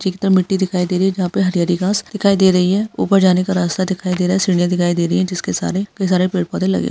अधिकतर मिट्टी दिखाई दे रही है जहां पर हरी हरी घास दिखाई दे रही है ऊपर जाने का रास्ता दिखाई दे रहा है सीढ़ियां दिखाई दे रही है जिसके सारे पेड़ पौधे लगे हुए हैं।